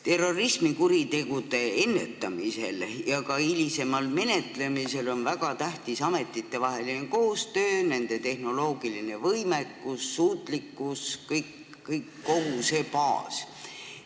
Terrorismikuritegude ennetamisel ja ka hilisemal menetlemisel on väga tähtis ametitevaheline koostöö, nende tehnoloogiline võimekus, suutlikkus – kogu see baas.